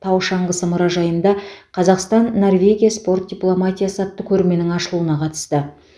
тау шаңғысы мұражайында қазақстан норвегия спорт дипломатиясы атты көрменің ашылуына қатысты